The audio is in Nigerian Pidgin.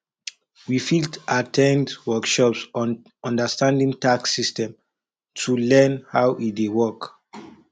we fit at ten d workshops on understanding tax systems to learn how e dey work